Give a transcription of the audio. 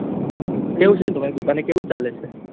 કેવું છે તામર દીપાને કેવું ચાલે છે